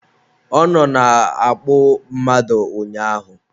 Ọ nọ na-akpụ mmadụ ụnyaahụ